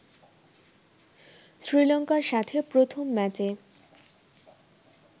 শ্রীলংকার সাথে প্রথম ম্যাচে